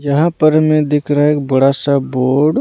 यहाँ पर हमें दिख रहा है एक बड़ा सा बोर्ड।